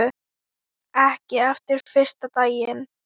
Ekki eftir fyrsta daginn.